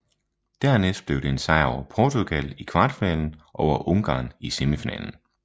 Dernæst blev det en sejr over Portugal i kvartfinalen og over Ungarn i semifinalen